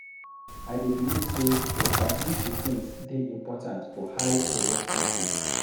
I dey believe sey to establish routines dey important for high productive day.